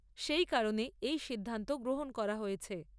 সেই কারণে এই সিদ্ধান্ত গ্রহণ করা হয়েছে।